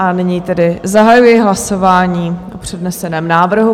A nyní tedy zahajuji hlasování o předneseném návrhu.